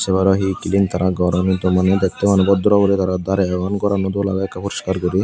aro hi klin tara goron hintu maneh dektey maneh bodraw guri tara darey agon gorano dol agey ekkey poriskar guri.